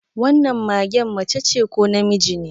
Wannan magen macece ko namiji ne?